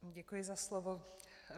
Děkuji za slovo.